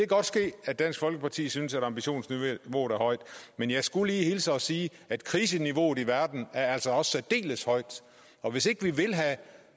godt ske at dansk folkeparti synes at ambitionsniveauet er højt men jeg skulle hilse og sige at kriseniveauet i verden altså også er særdeles højt og hvis ikke vi vil have